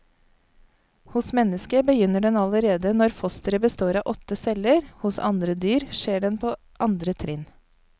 Hos mennesket begynner den allerede når fosteret består av åtte celler, hos andre dyr skjer den på andre trinn.